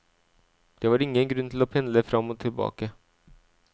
Det var ingen grunn til å pendle fram og tilbake.